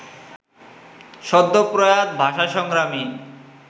সদ্যপ্রয়াত ভাষাসংগ্রামী